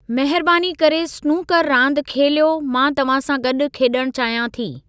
महिरबानी करे स्नूकरु रांदि खेलियो मां तव्हां सां गॾु खेॾणु चाहियां थी।